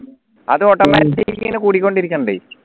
അത് automatic ഇങ്ങനെ കൂടിക്കൊണ്ടിരിക്കുന്നുണ്ടേ